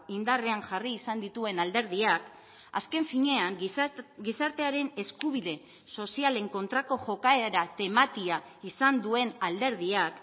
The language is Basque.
indarrean jarri izan dituen alderdiak azken finean gizartearen eskubide sozialen kontrako jokaera tematia izan duen alderdiak